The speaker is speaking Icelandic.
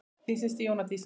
Þín systir Jóna Dísa.